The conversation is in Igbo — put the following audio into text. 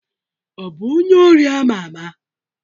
Ọ bụ onye ori ama ama?